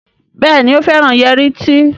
Béèni o féràn Yẹrí tí.